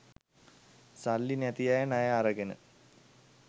සල්ලි නැති අය ණය අරගෙන